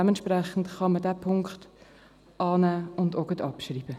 Deshalb kann man diesen annehmen und gleichzeitig abschreiben.